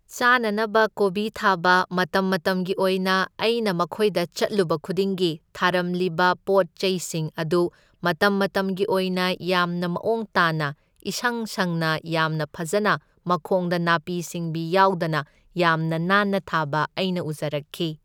ꯆꯥꯅꯅꯕ ꯀꯣꯕꯤ ꯊꯥꯕ, ꯃꯇꯝ ꯃꯇꯝꯒꯤ ꯑꯣꯏꯅ ꯑꯩꯅ ꯃꯈꯣꯏꯗ ꯆꯠꯂꯨꯕ ꯈꯨꯗꯤꯡꯒꯤ ꯊꯥꯔꯝꯂꯤꯕ ꯄꯣꯠ ꯆꯩꯁꯤꯡ ꯑꯗꯨ ꯃꯇꯝ ꯃꯇꯝꯒꯤ ꯑꯣꯏꯅ ꯌꯥꯝꯅ ꯃꯑꯣꯡ ꯇꯥꯅ ꯏꯁꯪ ꯁꯪꯅ ꯌꯥꯝꯅ ꯐꯖꯅ ꯃꯈꯣꯡꯗ ꯅꯥꯄꯤ ꯁꯤꯡꯕꯤ ꯌꯥꯎꯗꯅ ꯌꯥꯝꯅ ꯅꯥꯟꯅ ꯊꯥꯕ ꯑꯩꯅ ꯎꯖꯔꯛꯈꯤ꯫